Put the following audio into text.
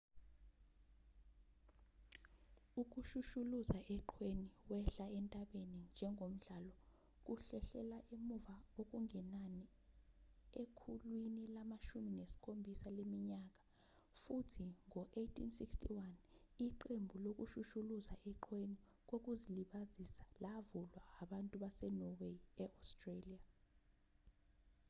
ukushushuluza eqhweni wehla entabeni njengomhlalo kuhlehlela emuva okungenani ekhulwini lama-17 leminyaka futhi ngo-1861 iqembu lokushushuluza eqhweni kokuzilibazisa lavulwa abantu basenorway e-australia